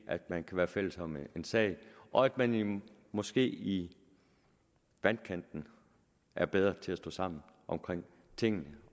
at man kan være fælles om en sag og at man måske i vandkanten er bedre til at stå sammen om tingene